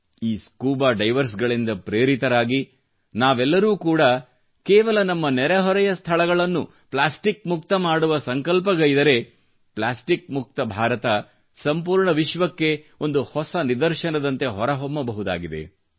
ಈ ಸ್ಕೂಬಾ ಡೈವರ್ಸ್ರಿಂದ ಪ್ರೇರಿತರಾಗಿ ನಾವೆಲ್ಲರೂ ಕೂಡಾ ಕೇವಲ ನಮ್ಮ ನೆರೆಹೊರೆಯ ಸ್ಥಳಗಳನ್ನು ಪ್ಲಾಸ್ಟಿಕ್ ಮುಕ್ತ ಮಾಡುವ ಸಂಕಲ್ಪಗೈದರೆ ಪ್ಲಾಸ್ಟಿಕ್ ಮುಕ್ತ ಭಾರತ ಸಂಪೂರ್ಣ ವಿಶ್ವಕ್ಕೆ ಒಂದು ಹೊಸ ನಿದರ್ಶನದಂತೆ ಹೊರಹೊಮ್ಮಬಹುದಾಗಿದೆ